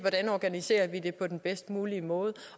organiserer det på den bedst mulig måde